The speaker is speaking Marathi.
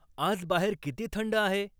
आज बाहेर किती थंड आहे ?